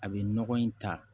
A bɛ nɔgɔ in ta